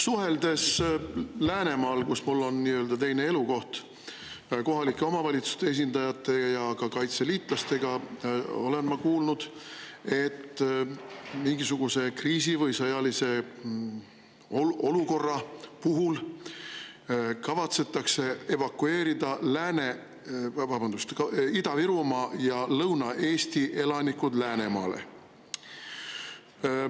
Suheldes Läänemaal, kus mul on nii-öelda teine elukoht, kohalike omavalitsuste esindajate ja ka kaitseliitlastega, olen ma kuulnud, et mingisuguse kriisi või sõjalise olukorra puhul kavatsetakse evakueerida Ida-Virumaa ja Lõuna-Eesti elanikud Läänemaale.